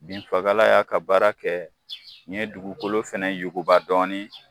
Binfagala y'a ka baara kɛ, n ye dugukolo fana yuguba dɔɔnin.